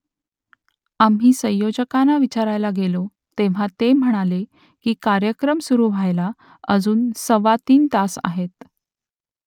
आम्ही संयोजकांना विचारायला गेलो तेव्हा ते म्हणाले की कार्यक्रम सुरू व्हायला अजून सव्वा तीन तास आहेत